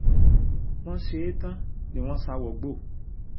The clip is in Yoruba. wọ́n ṣe é tán ni wọ́n sá wọgbó